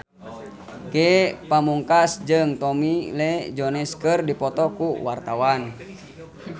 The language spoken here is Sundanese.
Ge Pamungkas jeung Tommy Lee Jones keur dipoto ku wartawan